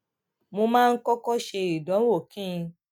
mo máa ń kókó ṣe ìdánwò kí n